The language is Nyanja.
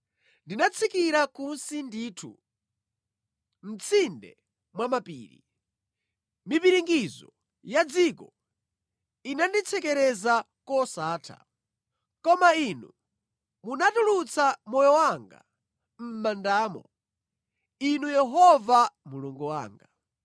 Ndinatsikira kunsi ndithu, mʼtsinde mwa mapiri; mipiringidzo ya dziko inanditsekereza kosatha. Koma Inu munatulutsa moyo wanga mʼmandamo, Inu Yehova Mulungu wanga.